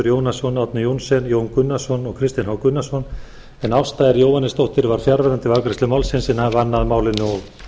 jónasson árni johnsen jón gunnarsson og kristinn h gunnarsson ásta r jóhannesdóttir var fjarverandi við afgreiðslu málsins en vann að málinu og